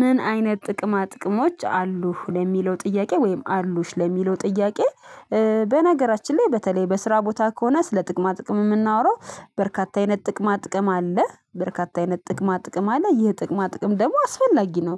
ምን አይነት ጥቅማ ጥቅሞች አሉህ ለሚለው ጥያቄ ወይም አሉሽ ለሚለው ጥያቄ? በነገራችን ላይ በተለይ በስራ ቦታ ከሆነ ስለ ጥቅማ ጥቅም የምናወራው በርካታ አይነት ጥቅማ ጥቅም አለ በርካታ አይነት ጥቅማ ጥቅም አለ ይህ ጥቅማ ጥቅም ደግሞ አስፈላጊ ነው።